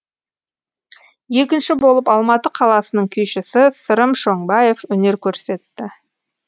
екінші болып алматы қаласының күйшісі сырым шоңбаев өнер көрсетті